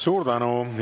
Suur tänu!